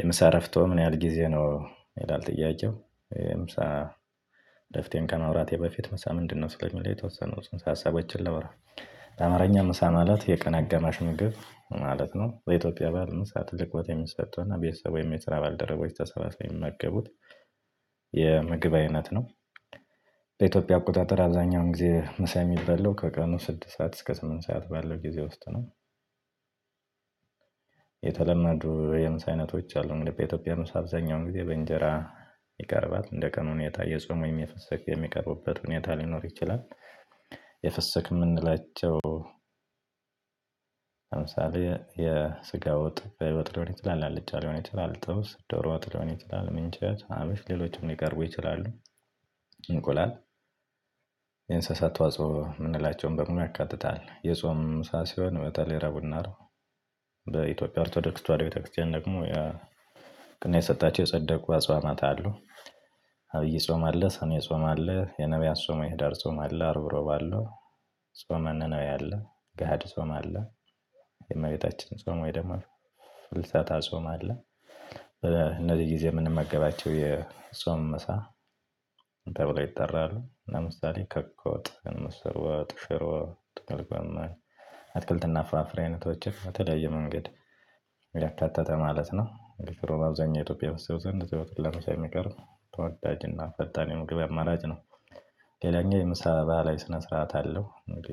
የምሳ እረፍቶ ምን ያህል ጊዜ ነው ይላል ጥያቄው የምሳ እረፍቴን ከማውራቴ በፊት ምሳ ምንድነው? ስለሚል የተወሰኑ ጽንሰ ሀሳቦችን ላውራ። በአማርኛ ምሳ ማለት የቀን አጋማሽ ምግብ ማለት ነው። በኢትዮጵያ በህል ምሳ ትልቅ ቦታ የሚሰጠውና ቤተሰቡ ወይም የስራ ባልደረቦች ተሰባሰቡ የሚመገቡት የምግብ አይነት ነው። በኢትዮጵያ አቆጣጠር አብዛኛውን ጊዜ ምሳ የሚበላው ከቀኑ ስድስት ሰዓት እስከ ስምንት ሰዓት ባለው ጊዜ ውስጥ ነው። የተለመዱ የምሳ አይነቶች አሉ እንግዲህ በኢትዮጵያ ምሳ አብዛኛውን ጊዜ በእንጀራ ይቀርባል እንደ ቀኑ ሁኔታ የጾሙን ወይም የፍስክ የሚቀርቡበት ሁኔታ ሊኖር ይችላል። የፍስክ የምንላቸው። ለምሳሌ የስጋው ወጥ ቀይ ወጥ ሊሆን አልጫ ሊሆን ይችላል ጥብስ ዶሮ ወጥ ሊሆን ይችላል ምንቸት ሀበሽ ሌሎችም ሊቀርቡ ይችላሉ። እንቁላል የእንስሳት ተዋጽኦ የምንላቸውን በሙሉ ያካትታል። የጾም ሰዓት ሲሆን በተለይ ረዕቡና አርብ በኢትዮጵያ አርቶዶክስ ተዋህዶ ቤተክርስቲያን ደግሞ እውቅና የሰጣችው የጸደቁ አጽዋማት አሉ። አብይ ጾም አለ ሰኔ ጾም አለ የነብያት ጾም የህዳር ጾመ አለ አርብ ሮብ አለው። ጾመ ነነዌ አለ። ጋሀድ ጾመ አለ። የእመቤታችን ጾም ወይ ደግሞ ፍልሰታ ጾም አለ። እነዚህ ጊዜ የምንመገባቸው የጾም ምሳ ተብሎ ይጠራሉ። ለምሳሌ ክክ ወጥ ምስር ወጥ ሽሮ ጥቅል ጎመን አትክልትና ፍራፍሬ አይነቶች በተለያየ መንገድ ያካተተ ማለት ነው። ሽሮ አብዛኛው ኢትዮጵያ ህዝብ ዘንድ ዘውትር ለምሳ የሚቀርብ ተወዳጅና ፈጣን የምግብ አማራጭ ነው። ሌላኛው የምሳ ባህላዊ ስነ ስርዓት አለው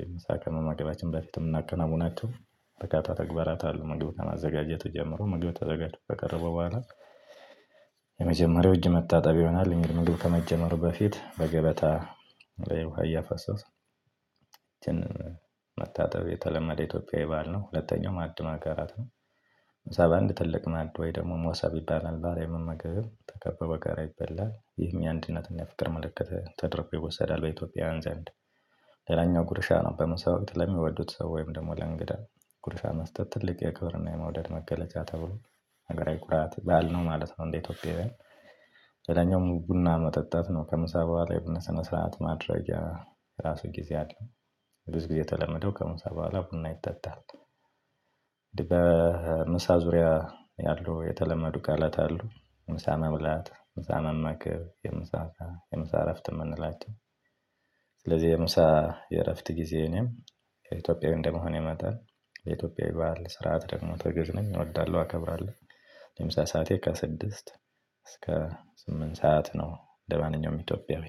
የምሳ ከመመገባችን በፊት የምናከናውናቸው በርካታ ተግባራት አሉ። ምግብ ከማዘጋጀት ጀምሮ ምግብ ተዘጋጅቶ ከቀረበ በኋላ የመጀመሪያው እጅ መታጠብ ይሆናል። እንግዲህ ምግብ ከመጀመሩ በፊት በገበታ ላይ ውሃ እያፈሰሰ እጅን መታጠብ የተለመደ ኢትዮጵያዊ ባህል ነው። ሁለተኛው ማዕድ ማጋራት ነው። እዛ በአንድ ትልቅ ማዕድ ወይ ደግሞ ሞሳብ ይባላል ባህላዊ መመገቢው ተከበበ ጋር ይበላል ይሄኛው አንድነትን የፍቅር ምልክት ተደርጎ ይወሰዳል በኢትዮጵያውያን ዘንድ። ሌላኛው ጉርሻ ነው። በመሰቦት ለሚወዱት ሰው ወይም ደግሞ ለእንግዳ ጉርሻ መስጠት ትልቅ የክብርና የመውደድ መገለጫ ተብሎ ነገር አይኩራት ባህል ነው ማለት ነው። እንደኢትዮጵያዊያን ሌለኛውም ቡና መጠጣት ነው። ከምሳ በኋላ የቡና ስነ ስርዓት ማድረጊያ የራሱ ጊዜ አለ። ብዙ ጊዜ የተለመደው ከምሳ በኋላ ቡና ይጠጣል። በምሳ ዙሪያ ያለው የተለመዱ ቃላት አሉ። ምሳ መብላት ምሳ መመገብ የምሳ ስዓት የምሳ እረፍት የምንላቸው። ስለዚህ የምሳ የእረፍት ጊዜ እኔም ከኢትዮጵያዊ እንደመሆን መጠን የኢትዮጵያ ባህል ስርዓት ደግሞ ተገዢ ነኝ እወዳለሁ አከብራለሁ። የምሳ ሰዓቴ ከስድስት እስከ ስምንት ሰዓት ነው። እንደማንኛውም ኢትዮጵያዊ